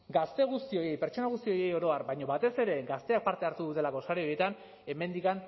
gazte guztioi pertsona guztioi oro har baina batez ere gazteak parte hartu dutelako sare horietan hemendik